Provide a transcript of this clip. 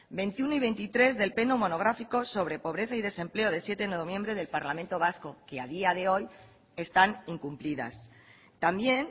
veintiuno y veintitrés del pleno monográfico sobre pobreza y desempleo de siete de noviembre del parlamento vasco que a día de hoy están incumplidas también